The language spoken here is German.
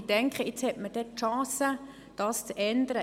Ich denke, man hätte nun die Chance, das zu ändern.